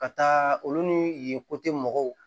Ka taa olu ni yen kote mɔgɔw